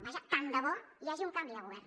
vaja tant de bo hi hagi un canvi de govern